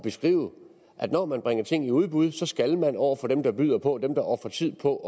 at skrive at når man bringer ting i udbud så skal man over for dem der byder på for dem der ofrer tid på